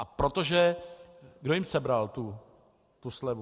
A protože - kdo jim sebral tu slevu?